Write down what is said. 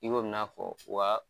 I ko i bɛ n'a fɔ